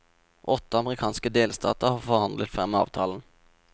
Åtte amerikanske delstater har forhandlet frem avtalen.